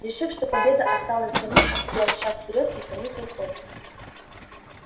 решив что победа осталась за ним он сделал шаг вперёд и понюхал кость